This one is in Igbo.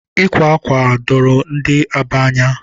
Ịkwa ákwà doro ndị Aba anya